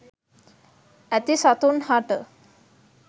ඇති සතුන් හට